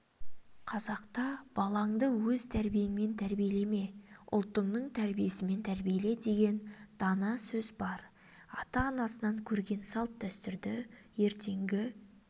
қазақта балаңды өз тәрбиеңмен тәрбиелеме ұлтыңның тәрбиесімен тәрбиеле деген дана сөз бар ата-анасынан көрген салт-дәстүрді ертеңгі